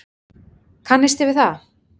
Kannisti við það!